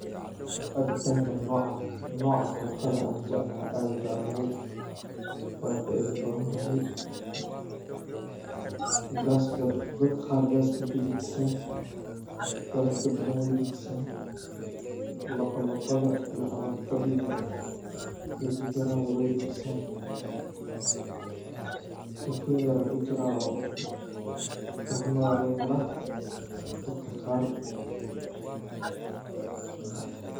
Cabitanka noca cokada aya jeclahay weyna faido badan tahay dadka qaar gaska udawo tahay daragta badan wey dajisa, labo labada iyo calool xanunka iyo dibiraha wey dajis. Kafee yar aya kujira oo fahmo aya lagahela dadka qar.